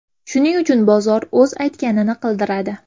Shuning uchun bozor o‘z aytganini qildiradi.